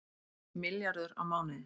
Milljarður á mánuði